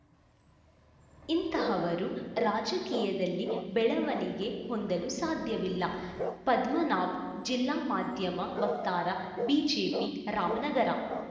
ಇಂತಹವರು ರಾಜಕೀಯದಲ್ಲಿ ಬೆಳವಣಿಗೆ ಹೊಂದಲು ಸಾಧ್ಯವಿಲ್ಲ ಪದ್ಮನಾಭ್‌ ಜಿಲ್ಲಾ ಮಾಧ್ಯಮ ವಕ್ತಾರ ಬಿಜೆಪಿ ರಾಮನಗರ